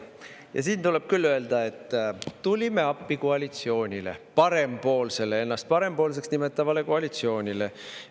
Ja siin tuleb küll öelda, et tulime appi koalitsioonile, parempoolsele, ennast parempoolseks nimetatavale koalitsioonile.